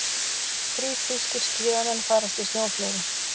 Þrír þýskir skíðamenn farast í snjóflóði